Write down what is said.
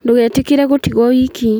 Ndũgetĩkĩre gũtigwo wiki